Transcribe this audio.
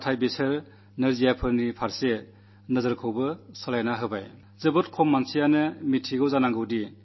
നമ്മുടെ സഹാനുഭൂതിയെ ഉണർത്തി അതോടൊപ്പം ഈ ദിവ്യാംഗരോടുള്ള നമ്മുടെ വീക്ഷണത്തിനും മാറ്റമുണ്ടാകണം